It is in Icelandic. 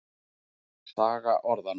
Saga orðanna.